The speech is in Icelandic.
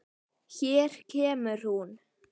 Hér kemur hún.